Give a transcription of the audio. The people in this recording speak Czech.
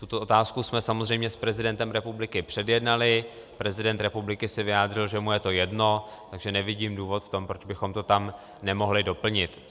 Tuto otázku jsme samozřejmě s prezidentem republiky předjednali, prezident republiky se vyjádřil, že mu je to jedno, takže nevidím důvod v tom, proč bychom to tam nemohli doplnit.